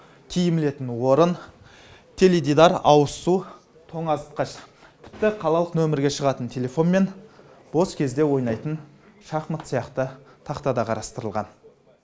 киім ілетін орын теледидар ауызсу тоңазытқыш тіпті қалалық нөмерге шығатын телефон мен бос кезде ойнайтын шахмат сияқты тақта да қарастырылған